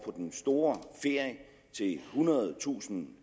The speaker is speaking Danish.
på den store ferie til ethundredetusind